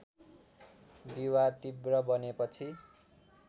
विवाद तीव्र बनेपछि